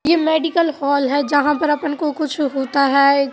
ये medical hall है जहाँ पर अपन को कुछ होता है।